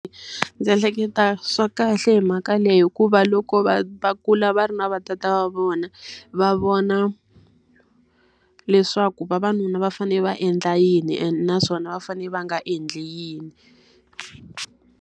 Ndzi ehleketa swa kahle hi mhaka leyi hikuva loko vana va kula va ri na va tata wa vona, va vona leswaku vavanuna va fanele va endla yini naswona va fanele va nga endli yini.